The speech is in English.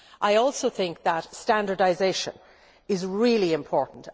I also think that standardisation is really important.